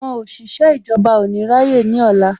Àwọn òṣìṣẹ́ ìjọba ò ní rá yé ní ọ̀la